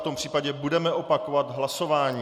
V tom případě budeme opakovat hlasování.